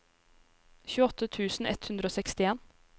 tjueåtte tusen ett hundre og sekstien